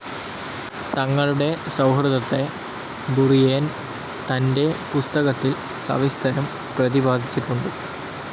തങ്ങളുടെ സൗഹൃദത്തെ ബുറിയേൻ തൻ്റെ പുസ്തകത്തിൽ സവിസ്തരം പ്രതിപാദിച്ചിട്ടുണ്ട്.